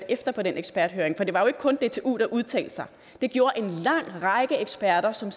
efter på den eksperthøring for det var jo ikke kun dtu der udtalte sig det gjorde en lang række eksperter som